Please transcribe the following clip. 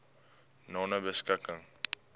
nonebeskikking